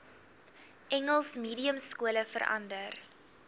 engels mediumskole verander